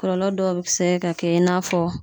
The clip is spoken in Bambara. Kɔlɔlɔ dɔw bi sɛ ka kɛ i n'a fɔ